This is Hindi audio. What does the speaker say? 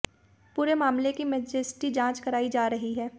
पूरे मामले की मजिस्ट्रेटी जांच कराई जा रही है